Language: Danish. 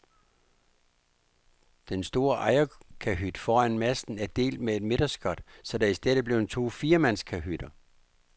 Den store ejerkahyt foran masten er delt med et midterskot, så der i stedet er blevet to firemandskahytter.